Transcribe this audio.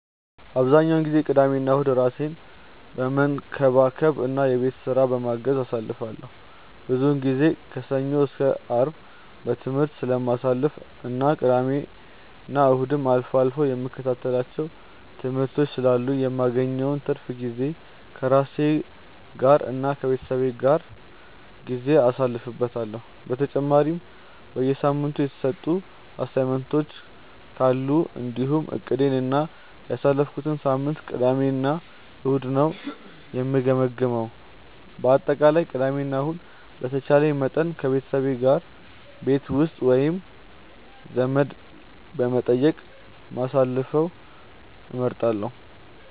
አብዛኛውን ጊዜ ቅዳሜና እሁድን ራሴን በመንከባከብ እና የቤት ስራ በማገዝ አሳልፈዋለሁ። ብዙውን ጊዜ ከሰኞ እስከ አርብ በትምህርት ስለማሳልፍ እና ቅዳሜና እሁድም አልፎ አልፎ የምከታተላቸው ትምህርቶች ስላሉኝ የማገኘውን ትርፍ ጊዜ ከራሴ ጋር እና ከቤተሰቤ ጋር ጊዜ አሳልፍበታለሁ። በተጨማሪም በሳምንቱ የተሰጡ አሳይመንቶች ካሉ እንዲሁም እቅዴን እና ያሳለፍኩትን ሳምንት ቅዳሜ እና እሁድ ነው የምገመግመው። በአጠቃላይ ቅዳሜ እና ከእሁድ በተቻለኝ መጠን ከቤተሰቦቼ ጋር ቤት ውስጥ ወይም ዘመድ በመጠየቅ ማሳለፍን እመርጣለሁ።